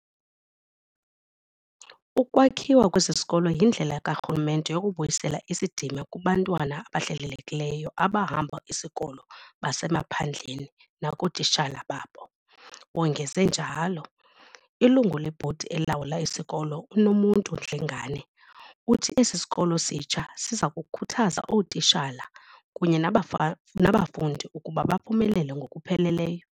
"Ukwakhiwa kwesi sikolo yindlela karhulumente yokubuyisela isidima kubantwana abahlelelekileyo abahamba isikolo basemaphandleni nakootitshala babo," wongeze njalo. Ilungu lebhodi elawula isikolo, uNomuntu Dlengane, uthi esi sikolo sitsha siza kukhuthaza ootitshala kunye nabafundi ukuba baphumelele ngokupheleleyo.